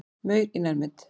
Maur í nærmynd.